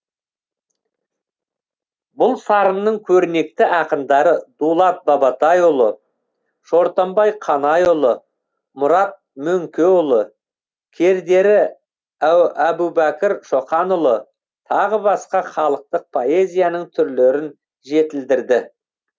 бұл сарынның көрнекті ақындары дулат бабатайұлы шортанбай қанайұлы мұрат мөңкеұлы кердері әбубәкір шоқанұлы тағы басқа халықтық поэзияның түрлерін жетілдірді